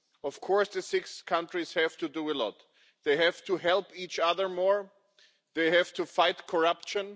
Of course the six countries have to do a lot. They have to help each other more, they have to fight corruption.